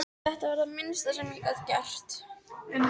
Þetta var það minnsta sem ég gat gert